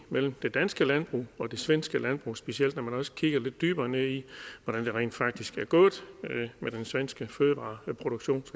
mellem det danske landbrug og det svenske landbrug specielt når man også kigger lidt dybere ned i hvordan det rent faktisk er gået med den svenske fødevareproduktion